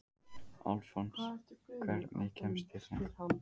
Alfons, hvernig kemst ég þangað?